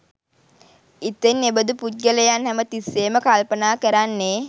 ඉතින් එබඳු පුද්ගලයන් හැම තිස්සේම කල්පනා කරන්නේ